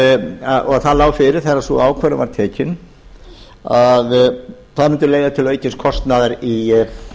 og það lá fyrir þegar sú ákvörðun var tekin að það mundi leiða til aukins kostnaðar í